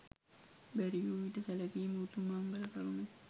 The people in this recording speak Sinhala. බැරි වූ විට සැලකීම උතුම් මංගල කරුණකි.